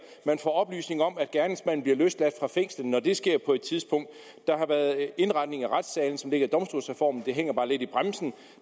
man får oplysninger om at gerningsmanden bliver løsladt fra fængslet når det sker på et tidspunkt der har været indretning af retssalene som led i domstolsreformen det hænger bare lidt i bremsen